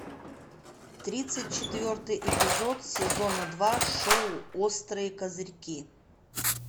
тридцать четвертый эпизод сезона два шоу острые козырьки